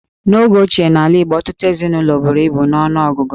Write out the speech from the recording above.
N'oge ochie n'ala Igbo, ọtụtụ ezinụlọ buru ibu n'ọnụọgụgụ.